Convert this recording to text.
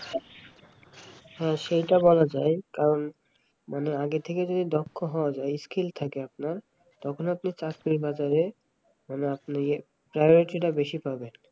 হ্যাঁ সেই তো বলা যায় কারণ মানে আগে থেকে দক্ষ হওয়া যায় skill থাকে আপনার তখন আপনি চাকরির বাজার মানে আপনি priority বেশি পাবেন